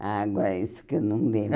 Ah, agora isso que eu não lembro.